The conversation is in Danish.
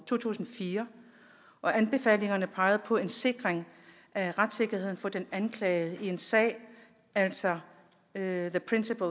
to tusind og fire anbefalingerne pegede på en sikring af retssikkerheden for den anklagede i en sag altså the principle